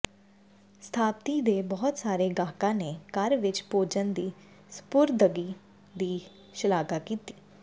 ਸਥਾਪਤੀ ਦੇ ਬਹੁਤ ਸਾਰੇ ਗਾਹਕਾਂ ਨੇ ਘਰ ਵਿੱਚ ਭੋਜਨ ਦੀ ਸਪੁਰਦਗੀ ਦੀ ਸ਼ਲਾਘਾ ਕੀਤੀ